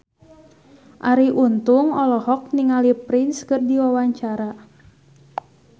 Arie Untung olohok ningali Prince keur diwawancara